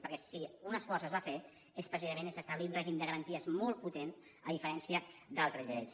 perquè si un esforç es va fer és precisament establir un règim de garanties molt potent a diferència d’altres lleis